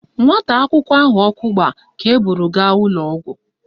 Nwata akwụkwọ ahụ ọkụ gbara ka eburu gaa ụlọọgwụ